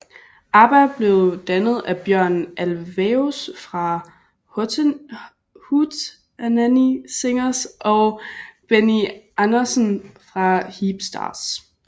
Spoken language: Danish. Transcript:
ABBA blev dannet af Björn Ulvaeus fra Hootenanny Singers og Benny Andersson fra Hep Stars